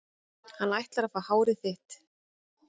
Hann ætlar að fá hárið þitt.